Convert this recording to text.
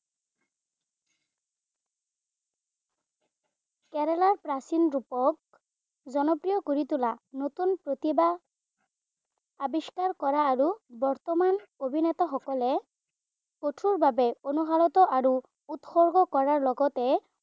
কেৰেলাৰ প্ৰাচীন ৰূপক জনপ্ৰিয় কৰি তোলা নতুন প্ৰতিভা আৱিষ্কাৰ কৰা আৰু বৰ্তমান অভিনেতাসকলে কঠোৰভাৱে অনুশালত আৰু উৎসৰ্গ কৰাৰ লগতে